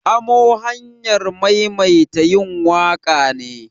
Amo hanyar maimaita yin waƙa ne.